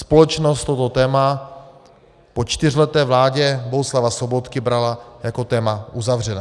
Společnost toto téma po čtyřleté vládě Bohuslava Sobotky brala jako téma uzavřené.